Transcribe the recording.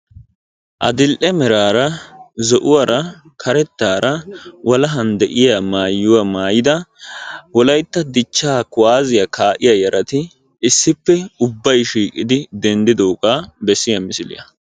Adil'e meraara zo'uwara karettaara walahan de'iya maayuwa mayida wolayitta dichchaa kuwaaziya kaa'iya yarati issippe ubbay shiiqidi denddidoogaa bessiya misiliya